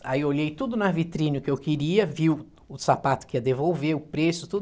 Aí eu olhei tudo na vitrine que eu queria, vi o sapato que ia devolver, o preço, tudo.